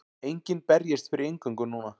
Enginn berjist fyrir inngöngu núna.